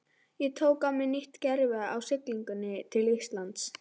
Ég tók á mig nýtt gervi á siglingunni til Íslands.